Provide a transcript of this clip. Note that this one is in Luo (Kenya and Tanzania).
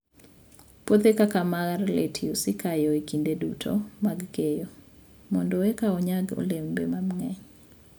Puothe kaka mar lettuce ikayo e kinde duto mag keyo mondo eka onyag olembe mang'eny.